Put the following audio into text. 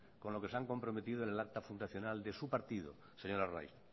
con lo que se han comprometido en el acta fundacional de su partido señor arraiz